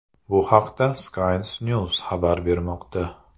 Bu haqda Science News xabar bermoqda .